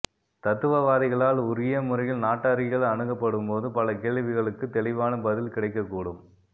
தத்துவவாதிகளால்உரிய முறையில் நாட்டாரியல் அணுகப்படும்போது பல கேள்விகளுக்குத் தெளிவான பதில் கிடைக்கக் கூடும்